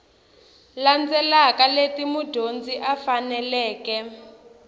landzelaka leti mudyondzi a faneleke